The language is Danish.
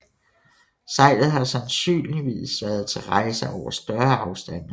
Sejlet har sandsynligvis været til rejser over større afstande